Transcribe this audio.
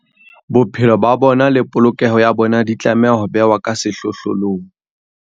Bophelo ba bona le polokeho ya bona di tlameha ho bewa ka sehlohlolong.